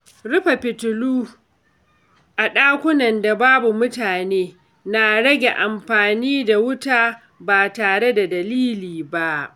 Rufe fitilu a ɗakunan da babu mutane na rage amfani da wuta ba tare da dalili ba.